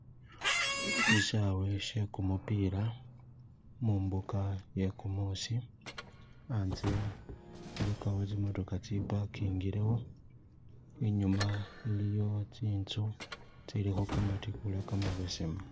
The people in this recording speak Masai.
Shisaawe she kumupila mumbuka iye kumuusi anze ilikawo tsi motokha tse pakingilewo , inyuma iliyo tsinzu tsilikho kamatikhula kamabesemu